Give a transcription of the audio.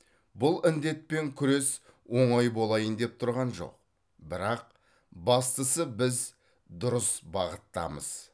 бұл індетпен күрес оңай болайын деп тұрған жоқ бірақ бастысы біз дұрыс бағыттамыз